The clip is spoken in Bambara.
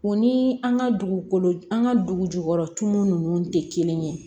O ni an ka dugu an ka dugu jukɔrɔtumu nunnu tɛ kelen ye